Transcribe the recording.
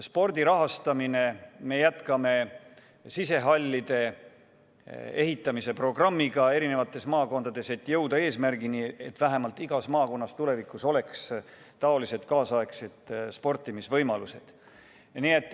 Spordi rahastamine: me jätkame sisehallide ehitamise programmi eri maakondades, et jõuda eesmärgini, et igas maakonnas oleks kaasaegsed sportimisvõimalused.